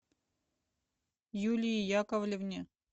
юлии яковлевне